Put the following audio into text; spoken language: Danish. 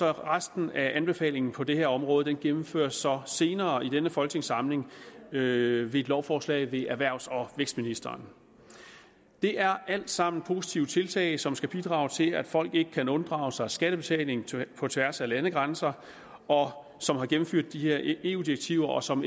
resten af anbefalingen på det her område gennemføres så senere i denne folketingssamling med et lovforslag ved erhvervs og vækstministeren det er alt sammen positive tiltag som skal bidrage til at folk ikke kan unddrage sig skattebetaling på tværs af landegrænser og som gennemfører de her eu direktiver og som